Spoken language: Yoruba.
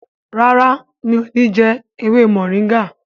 ràrá mi'o ní jé ewé Moringa.